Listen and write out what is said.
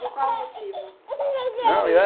Por qual motivo? Não